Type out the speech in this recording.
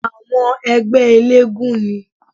Àwọn ẹgbẹ́ eléégún ni